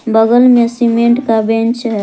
बगल में सीमेंट का बेंच है।